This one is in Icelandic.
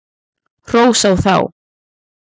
Hrós á þá!